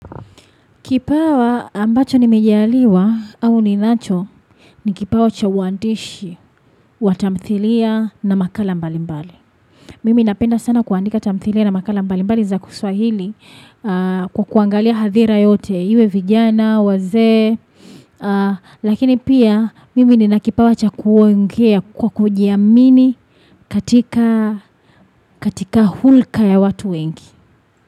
Kipawa ambacho nimejaliwa au ninacho ni kipawa cha uandishi wa tamthilia na makala mbalimbali. Mimi napenda sana kuandika tamthilia na makala mbalimbali za kiswahili kwa kuangalia hadhira yote, iwe vijana, wazee. Lakini pia, mimi nina kipawa cha kuongea kwa kujiamini katika hulka ya watu wengi.